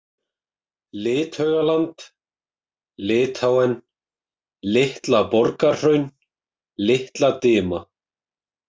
Lithaugaland, Litháen, Litla-Borgarhraun, Litla-Dima